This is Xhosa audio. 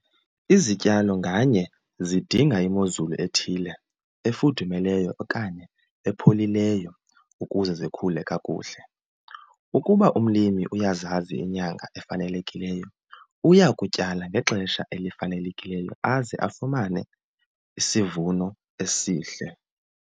Izityalo nganye zidinga imozulu ethile efudumeleyo okanye epholileyo ukuze zikhule kakuhle. Ukuba umlimi uyazazi iinyanga efanelekileyo uyakutyala ngexesha elifanelekileyo aze afumane isivuno esihle.